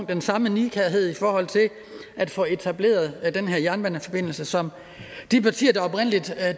den samme nidkærhed i forhold til at få etableret den her jernbaneforbindelse som de partier der oprindeligt